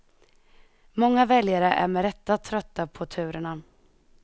Många väljare är med rätta trötta på turerna.